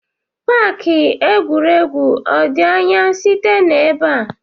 Paaki egwuregwu ọ dị anya site n'ebe a?